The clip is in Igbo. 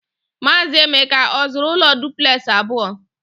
Maazị Emeka ọ zụrụ ụlọ duplexị abụọ?